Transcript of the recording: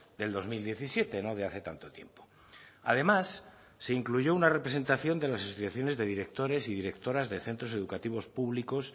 del dos mil diecisiete no de hace tanto tiempo además se incluyó una representación de las asociaciones de directores y directoras de centros educativos públicos